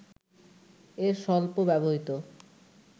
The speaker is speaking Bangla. এর সল্প ব্যবহৃত